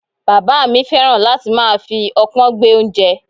Bàbá mi fẹ́ràn láti máa fi opon gbé oúnjẹ.